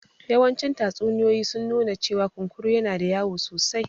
Yawancin tatsuniyoyi sun nuna cewa kunkuru yana da wayo sosai